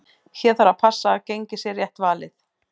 Hér þarf að passa að gengið sé rétt valið.